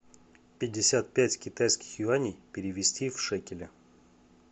пятьдесят пять китайских юаней перевести в шекели